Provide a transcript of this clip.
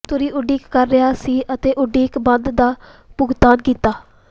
ਤੁਰ੍ਹੀ ਉਡੀਕ ਕਰ ਰਿਹਾ ਸੀ ਅਤੇ ਉਡੀਕ ਬੰਦ ਦਾ ਭੁਗਤਾਨ ਕੀਤਾ